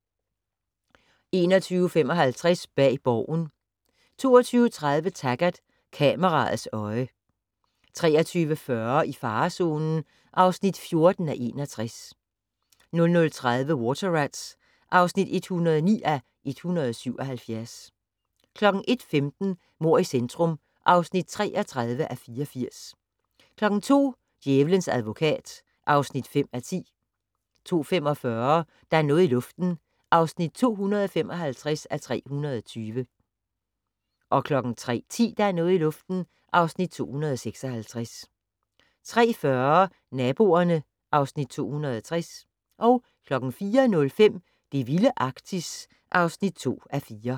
21:55: Bag Borgen 22:30: Taggart: Kameraets øje 23:40: I farezonen (14:61) 00:30: Water Rats (109:177) 01:15: Mord i centrum (33:84) 02:00: Djævelens advokat (5:10) 02:45: Der er noget i luften (255:320) 03:10: Der er noget i luften (256:320) 03:40: Naboerne (Afs. 260) 04:05: Det vilde Arktis (2:4)